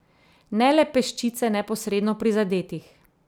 Ne le peščice neposredno prizadetih.